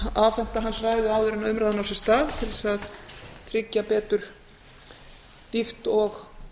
afhenta hans ræðu áður en umræðan á sér stað til þess að tryggja betur dýpt og